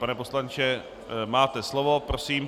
Pane poslanče, máte slovo, prosím.